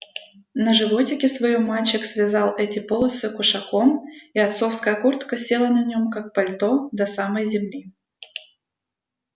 на животике своём мальчик связал эти полосы кушаком и отцовская куртка села на нем как пальто до самой земли